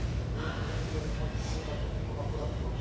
Rovnako ďakujem mojim spolupracovníkom a poradcom.